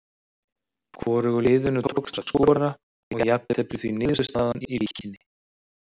Hvorugu liðinu tókst að skora og jafntefli því niðurstaðan í Víkinni.